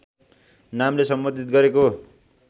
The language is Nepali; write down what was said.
नामले सम्बोधित गरेका